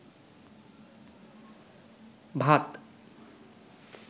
ভাত